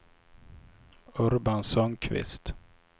Urban Sundkvist